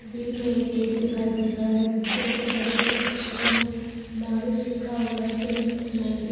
तस्वीर में एक गेट दिखाई दे रहा है जिसके ऊपर बड़े बड़े अक्षरों में मॉरिस लिखा हुआ है। Since nineteen --